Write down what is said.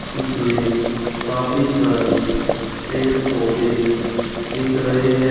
इसमें काफी सारे पेड़ पौधे दिख रहे हैं।